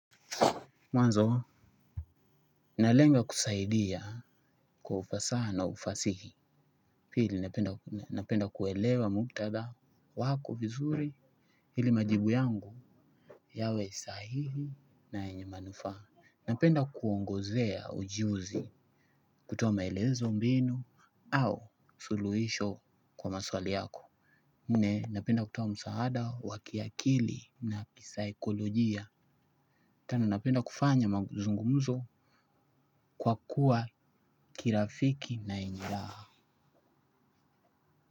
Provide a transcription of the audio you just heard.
Mwanzo nalenga kusaidia kwa ufasaha na ufasihi. Pili napenda kuelewa muktadha wako vizuri. Pili majibu yangu yawe sahihi na yenye manufaa. Napenda kuongozea ujuzi kutoa maelezo mbinu au suluhisho kwa maswali yako nne napenda kutoa msaada wa kiakili na kisaikolojia. Tano napenda kufanya mazungumuzo kwa kuwa kirafiki na yenye raha.